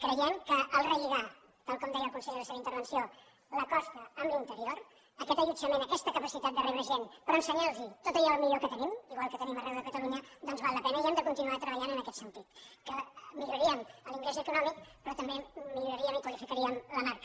creiem que al relligar tal com deia el conseller a la seva intervenció la costa amb l’interior aquest allotjament aquesta capacitat de rebre gent però ensenyant los tot allò millor que tenim igual que tenim arreu de catalunya doncs val la pena i hem de continuar treballant en aquest sentit que milloraríem l’ingrés econòmic però també milloraríem i qualificaríem la marca